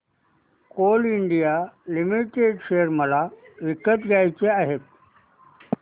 Coal India Limited share मला विकत घ्यायचे आहेत